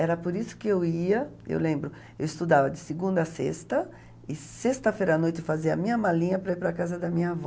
Era por isso que eu ia, eu lembro, eu estudava de segunda a sexta, e sexta-feira à noite fazia a minha malinha para ir para a casa da minha avó.